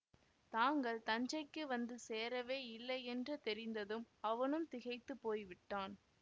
தாங்கள் தஞ்சைக்கு வந்து சேரவே இல்லையென்று தெரிந்ததும் அவனும் திகைத்து போய்விட்டான்